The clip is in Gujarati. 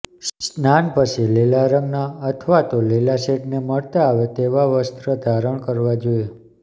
સ્નાન પછી લીલા રંગના અથવા તો લીલા શેડને મળતા આવે તેવા વસ્ત્ર ધારણ કરવા જોઈએ